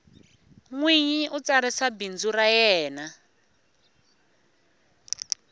nwinyi u tsarisa bindzu ra yena